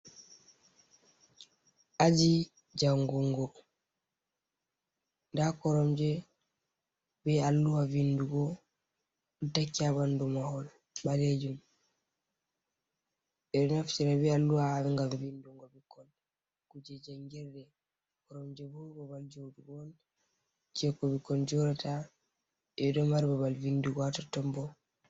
Aji jangungo, nda koromje be alluwa vindugo ɗo takki ha ɓandu mahol ɓaleejum. Ɓe ɗo naftira be alluwa ngam vindungo ɓikkoi kuje jangirde, koromje bo babal joɗugo on jei ko ɓikkon jooɗata, ɓe ɗo mari babal vindugo ha totton.